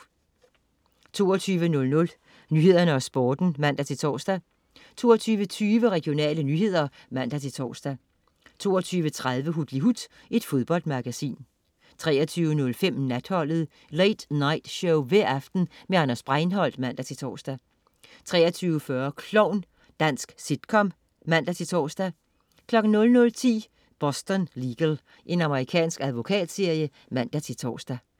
22.00 Nyhederne og Sporten (man-tors) 22.20 Regionale nyheder (man-tors) 22.30 Hutlihut. Fodboldmagasin 23.05 Natholdet. Late night show hver aften med Anders Breinholt (man-tors) 23.40 Klovn. Dansk sitcom (man-tors) 00.10 Boston Legal. Amerikansk advokatserie (man-tors)